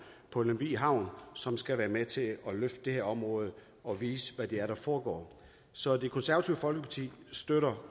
på lemvig havn som skal være med til at løfte det her område og vise hvad det er der foregår så det konservative folkeparti støtter